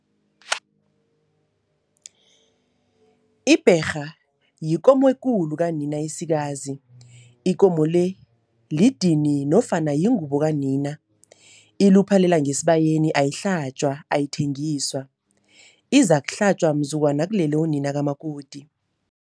Ibherha yikomo ekulu kanina esikazi, ikomo le lidini nofana yingubo kanina. Iluphalela ngesibayeni ayihlatjwa, ayithengiswa, izakuhlatjwa mzukwana kulele unina kamakoti.